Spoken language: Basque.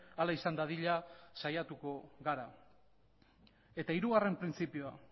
hala izan dadila saiatuko gara eta hirugarren printzipioa